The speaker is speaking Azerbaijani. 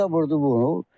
Şaxta vurdu bunu.